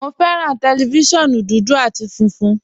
Mo fẹ́ran tẹlifísiọ̀nù dúdú àti fúnfun